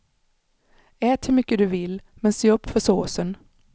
Ät hur mycket du vill, men se upp för såsen.